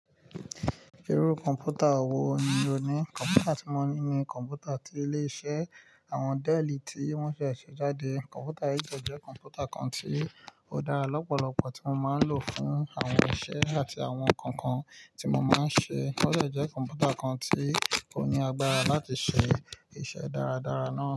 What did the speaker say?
Irú kọ̀mpútà wo ni o ní? Kọ̀mpútà tí mo ní ni kọ̀mpútà tí ilé iṣe àwọn Dell tí wọ́n se ṣe jáde. Kọ̀mpútà yìí de jẹ́ kọ̀mpútà kan tí ó dára lọ́pọ̀lọpọ̀ tí mo máa ń lò fún àwọn iṣẹ́ àti àwọn nǹkan kan tí mo máa ń ṣe. Ó sì jẹ́ kọ̀mpútà kan tí kò ní agbára láti ṣe iṣẹ́ dáradára náà.